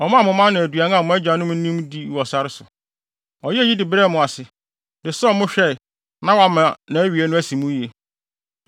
Ɔmaa mo mana aduan a mo agyanom nnim dii wɔ sare so. Ɔyɛɛ eyi de brɛɛ mo ase, de sɔɔ mo hwɛe na wama awiei no asi mo yiye.